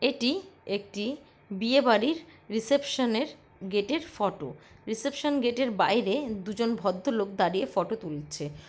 এটি একটি বিয়ে বাড়ির রিসেপশনে র গেট এর ফটো রিসেপশন গেট এর বাইরে দুজন ভদ্র লোক দাঁড়িয়ে ফোটো তুলছে।